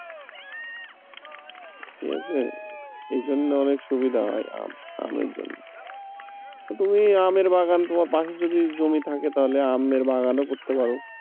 ঠিক আছে, এজন্য অনেক সুবিধা হয় আম আমের জন্য তুমি আমের বাগান তোমার পাশে যদি জমি থাকে তাহলে আমের বাগানও করতে পারো।